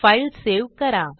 file save करा